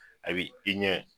A b'i i ɲɛ